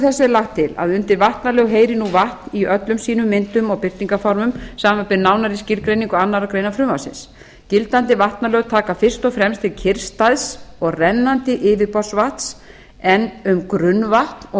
er lagt til að undir vatnalög heyri nú vatn í öllum sínum myndum og birtingarformum samanber nánari skilgreiningu annarrar greinar frumvarpsins gildandi vatnalög taka fyrst og fremst til kyrrstæðs og rennandi yfirborðsvatns en um grunnvatn og